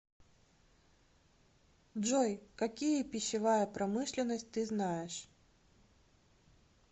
джой какие пищевая промышленность ты знаешь